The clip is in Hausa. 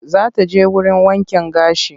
Za ta je wurin wankin gashi.